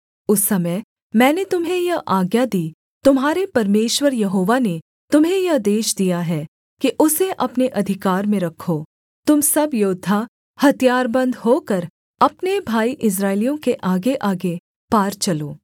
उस समय मैंने तुम्हें यह आज्ञा दी तुम्हारे परमेश्वर यहोवा ने तुम्हें यह देश दिया है कि उसे अपने अधिकार में रखो तुम सब योद्धा हथियारबन्द होकर अपने भाई इस्राएलियों के आगेआगे पार चलो